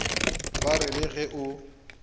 ba re le ge o